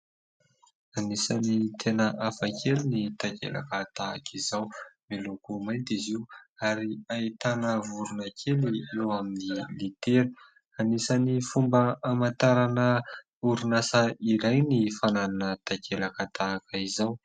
Anisany tena hafa kely ny takelaka tahaka izao, miloko mainty izy io ary ahitana vorona kely eo amin'ny litera ; anisany fomba hamantarana orinasa iray ny fananana takelaka tahaka izao.